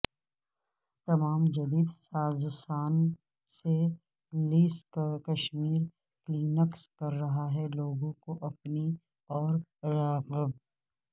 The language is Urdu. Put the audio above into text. تمام جدید سازوسان سے لیس کشمیر کلینکس کررہا ہے لوگوں کو اپنی اور راغب